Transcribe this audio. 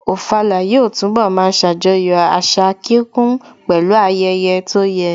Ofala yóò túnbọ̀ máa ṣàjọyọ̀ àṣà kíkún pẹ̀lú ayẹyẹ tó yẹ